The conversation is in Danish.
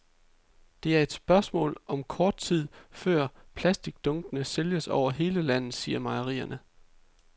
Det er et spørgsmål om kort tid, før plasticdunkene sælges over hele landet, siger mejerier.